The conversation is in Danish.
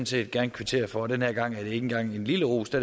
set gerne kvittere for og denne gang er det ikke engang en lille ros det